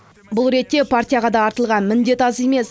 бұл ретте партияға да артылған міндет аз емес